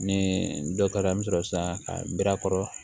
Ni dɔ kɛra an bɛ sɔrɔ sisan ka bira kɔrɔ